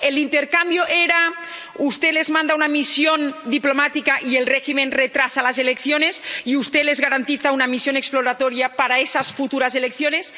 ¿El intercambio era usted les manda una misión diplomática y el régimen retrasa las elecciones y usted les garantiza una misión exploratoria para esas futuras elecciones?